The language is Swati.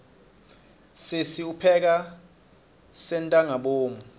sesi upheka sentangabomu